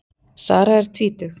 Sara er tvítug.